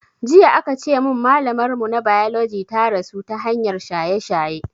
Jiya aka ce mun malamar mu na biology ta rasu ta hanyar shaye shaye